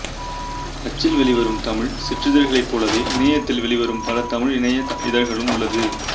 அச்சில் வெளிவரும் தமிழ் சிற்றிதழ்களைப் போலவே இணையத்தில் வெளிவரும் பல தமிழ் இணைய இதழ்களும் உள்ளது